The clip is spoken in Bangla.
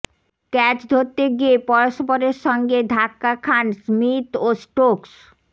ক্যাচ ধরতে গিয়ে পরস্পরের সঙ্গে ধাক্কা খান স্মিথ ও স্টোকস